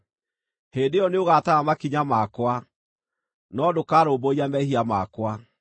Hĩndĩ ĩyo nĩũgatara makinya makwa, no ndũkarũmbũiya mehia makwa.